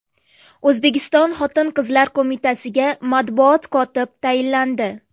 O‘zbekiston Xotin-qizlar qo‘mitasiga matbuot kotib tayinlandi.